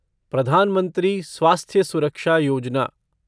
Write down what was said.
Pradhan Mantri Swasthya Suraksha Yojana